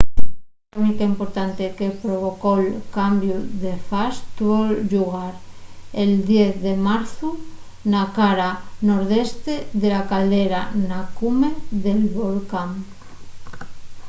l’actividá sísmica importante que provocó’l cambiu de fas tuvo llugar el 10 de marzu na cara nordeste de la caldera na cume del volcán